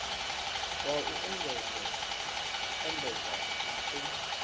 wa u endedza na u